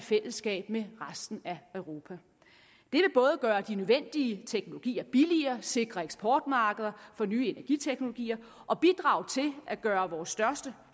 i fællesskab med resten af europa det vil både gøre de nødvendige teknologier billigere sikre eksportmarkeder for nye energiteknologier og bidrage til at gøre vores største